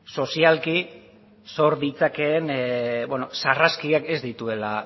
sozialki sor ditzakeen sarraskiak ez dituela